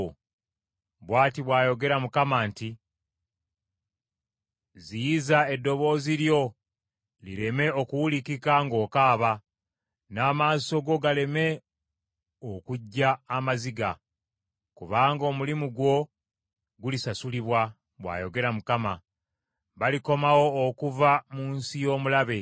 Bw’ati bw’ayogera Mukama nti, “Ziyiza eddoboozi lyo lireme okuwulikika ng’okaaba n’amaaso go galeme okujja amaziga, kubanga omulimu gwo gulisasulibwa,” bw’ayogera Mukama . Balikomawo okuva mu nsi y’omulabe.